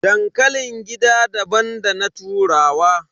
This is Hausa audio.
Dankalin gida daban da na turawa.